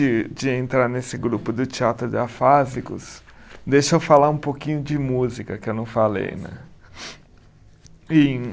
E de entrar nesse grupo do Teatro de Afásicos, deixa eu falar um pouquinho de música que eu não falei, né? Em